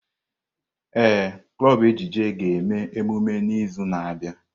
Ee, klọb ejije ga-eme emume n'izu na-abịa.